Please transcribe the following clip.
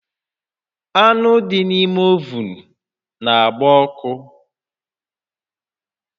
Anụ dị n'ime ovun na-agba ọkụ